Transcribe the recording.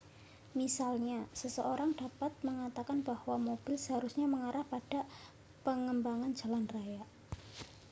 misalnya seseorang dapat mengatakan bahwa mobil seharusnya mengarah pada pengembangan jalan raya